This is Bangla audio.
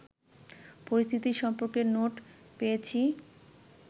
পরিস্থিতি সম্পর্কে নোট পেয়েছি